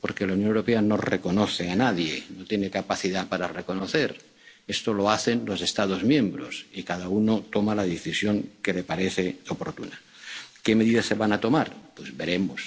palestino? Porque la Unión Europea no reconoce a nadie, no tiene capacidad para reconocer. Esto lo hacen los Estados miembros, y cada uno toma la decisión que le parece oportuna. ¿Qué medidas se van a tomar?